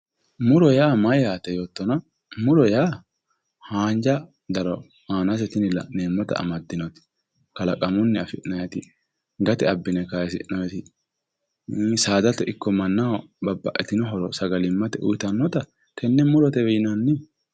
muro yaa mayyaate yoottona muro yaa haanja daro tini la'neemmota amaddinote kalaqamunni afi'nannite gate abbine kaasi'noonite saadateno ikko mannaho babbaxitino horo sagali'mate uyiitannote tenne murotewe yinanni.